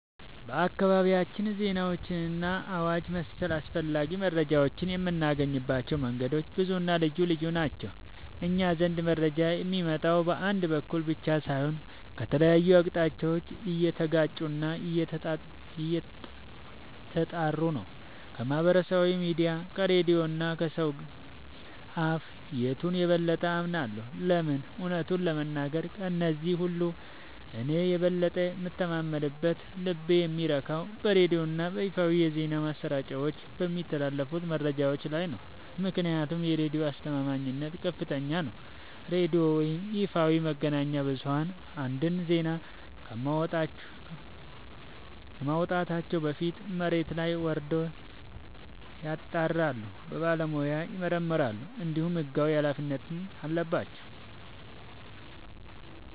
በአካባቢያችን ዜናዎችንና አዋጅ መሰል አስፈላጊ መረጃዎችን የምናገኝባቸው መንገዶች ብዙና ልዩ ልዩ ናቸው። እኛ ዘንድ መረጃ የሚመጣው በአንድ በኩል ብቻ ሳይሆን ከተለያዩ አቅጣጫዎች እየተጋጩና እየተጣሩ ነው። ከማኅበራዊ ሚዲያ፣ ከሬዲዮ እና ከሰው አፍ... የቱን የበለጠ አምናለሁ? ለምን? እውነቱን ለመናገር፣ ከእነዚህ ሁሉ እኔ የበለጠ የምተማመንበትና ልቤ የሚረካው በሬዲዮና በይፋዊ የዜና ማሰራጫዎች በሚተላለፉ መረጃዎች ላይ ነው። ምክንያቱም የሬዲዮ አስተማማኝነት ከፍተኛ ነው፤ ሬዲዮ ወይም ይፋዊ መገናኛ ብዙኃን አንድን ዜና ከማውጣታቸው በፊት መሬት ላይ ወርደው ያጣራሉ፣ በባለሙያ ይመረምራሉ፣ እንዲሁም ሕጋዊ ኃላፊነት አለባቸው።